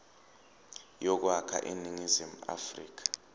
yokwakha iningizimu afrika